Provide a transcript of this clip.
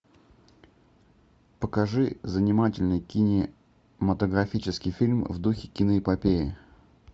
покажи занимательный кинематографический фильм в духе киноэпопеи